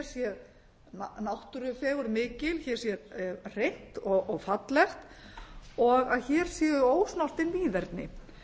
sé náttúrufegurð mikil hér sé hreint og fallegt og að hér séu ósnortið víðerni